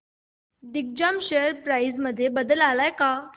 Digjam share price मध्ये बदल आलाय का